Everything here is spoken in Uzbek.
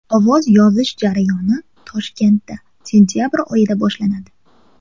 Ovoz yozish jarayoni Toshkentda sentabr oyida boshlanadi.